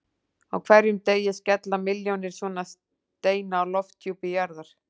Á hverjum degi skella milljónir svona steina á lofthjúpi jarðar.